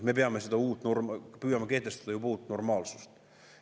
Me püüame juba kehtestada seda kui uut normaalsust.